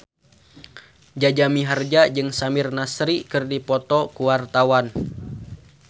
Jaja Mihardja jeung Samir Nasri keur dipoto ku wartawan